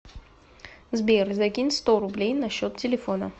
сбер закинь сто рублей на счет телефона